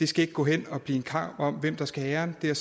skal gå hen og blive en kamp om hvem der skal have æren det er